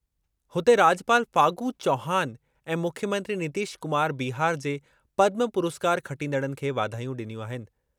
हुते, राॼपाल फागू चौहान ऐं मुख्यमंत्री नीतीश कुमार बिहार जे पद्म पुरस्कार खटींदड़नि खे वाधायूं ॾिनियूं आहिनि।